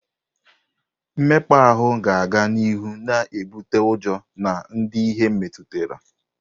Mmekpa ahụ ga-aga n'ihu na-ebute ụjọ na ndị ihe metụtara.